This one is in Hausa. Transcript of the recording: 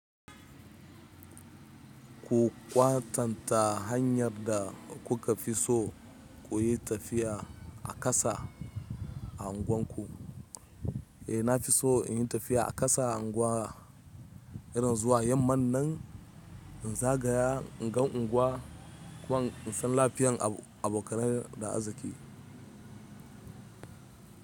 Ku kwatanta hanyar da kuka fi so ku yi tafiya a ƙasa a unguwanku. Eh na fi so in yi tafiya a ƙasa a unguwa, irin zuwa yamman nan in zagaya in gan unguwa ko in san lafiyan abokanar da azziki.